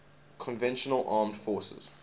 conventional armed forces